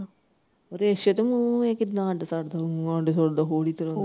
ਰਿੱਛ ਤੇ ਮੂੰਹ ਇਹ ਕਿਦਾ ਅੱਡ ਸਕਦਾ, ਮੂੰਹ ਅੱਡ ਸਕਦਾ ਪੂਰੀ ਤਰਾਂ।